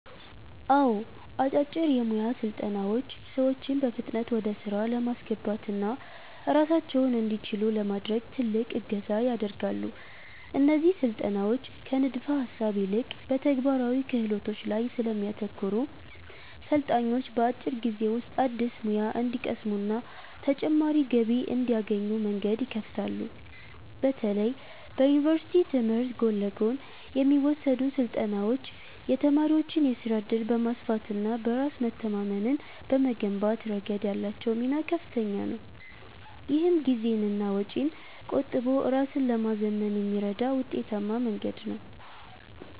አዎ፣ አጫጭር የሞያ ስልጠናዎች ሰዎችን በፍጥነት ወደ ሥራ ለማስገባትና ራሳቸውን እንዲችሉ ለማድረግ ትልቅ እገዛ ያደርጋሉ። እነዚህ ስልጠናዎች ከንድፈ-ሐሳብ ይልቅ በተግባራዊ ክህሎቶች ላይ ስለሚያተኩሩ፣ ሰልጣኞች በአጭር ጊዜ ውስጥ አዲስ ሙያ እንዲቀስሙና ተጨማሪ ገቢ እንዲያገኙ መንገድ ይከፍታሉ። በተለይ በዩኒቨርሲቲ ትምህርት ጎን ለጎን የሚወሰዱ ስልጠናዎች የተማሪዎችን የሥራ ዕድል በማስፋትና በራስ መተማመንን በመገንባት ረገድ ያላቸው ሚና ከፍተኛ ነው። ይህም ጊዜንና ወጪን ቆጥቦ ራስን ለማዘመን የሚረዳ ውጤታማ መንገድ ነው።